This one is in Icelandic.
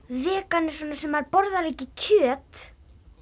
vegan er svona sem borðar ekki kjöt